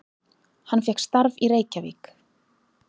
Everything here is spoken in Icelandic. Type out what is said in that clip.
Hann fékk starf í Reykjavík.